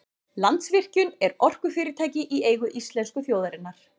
Landsvirkjun er orkufyrirtæki í eigu íslensku þjóðarinnar.